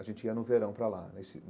A gente ia no verão para lá nesse.